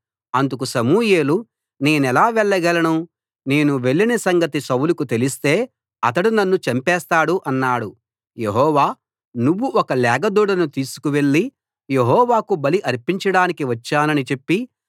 అందుకు సమూయేలు నేనెలా వెళ్ళగలను నేను వెళ్లిన సంగతి సౌలుకు తెలిస్తే అతడు నన్ను చంపేస్తాడు అన్నాడు యెహోవా నువ్వు ఒక లేగ దూడను తీసుకువెళ్ళి యెహోవాకు బలి అర్పించడానికి వచ్చానని చెప్పి